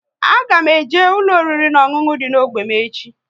A ga m eje ụlọ oriri na ọṅụṅụ dị n'ógbè m echi